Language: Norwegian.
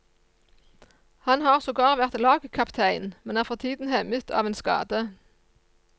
Han har sogar vært lagkaptein, men er for tiden hemmet av en skade.